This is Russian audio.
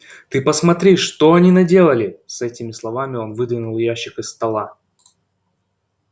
ты посмотри что они наделали с этими словами он выдвинул ящик из стола